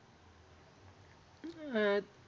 अं